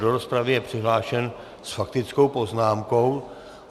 Do rozpravy je přihlášen s faktickou poznámkou...